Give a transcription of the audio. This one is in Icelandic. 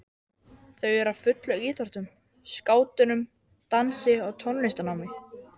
Þau eru á fullu í íþróttum, skátunum, dansi og tónlistarnámi.